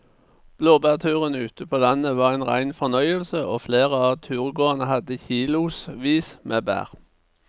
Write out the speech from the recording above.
Blåbærturen ute på landet var en rein fornøyelse og flere av turgåerene hadde kilosvis med bær.